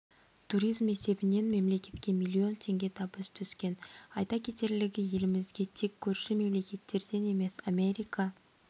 туризм есебінен мемлекетке миллион теңге табыс түскен айта кетерлігі елімізге тек көрші мемлекеттерден емес америка